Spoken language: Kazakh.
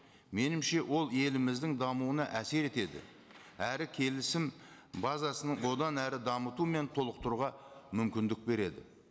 меніңше ол еліміздің дамуына әсер етеді әрі келісім базасын одан әрі дамыту мен толықтыруға мүмкіндік береді